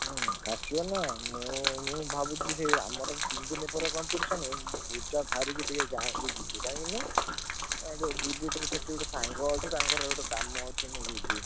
ହୁଁ ଆସିବନା ମୁଁ ମୁଁ ଭାବୁଚି ସେଇ ଆମର competition ହୁଏ। ପୂଜା ସାରିକି ଟିକେ ଗାଁକୁ ଯିବି କାହିଁକି କହିଲ କାହିଁକି ସେଠି ଗୋଟେ ସାଙ୍ଗ ଅଛି। ତାଙ୍କର କାମ ଅଛି ମୁଁ ଯିବି।